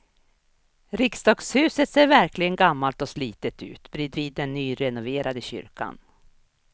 Riksdagshuset ser verkligen gammalt och slitet ut bredvid den nyrenoverade kyrkan.